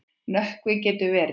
Nökkvi getur verið